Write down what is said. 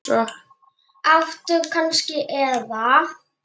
Áttu hanska eða?